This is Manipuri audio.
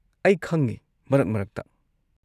ꯑꯩ ꯈꯪꯉꯦ ꯃꯔꯛ-ꯃꯔꯛꯇ꯫